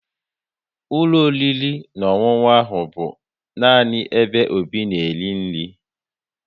Ụlọ oriri na ọṅụṅụ ahụ bụ nani ebe Obi na-eri nri